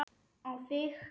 Á þig.